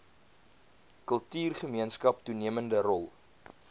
kultuurgemeenskap toenemende rol